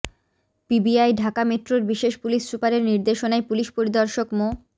PBI Dhaka মেট্রোর বিশেষ police সুপারের নির্দেশনায় পুলিশ পরিদর্শক মো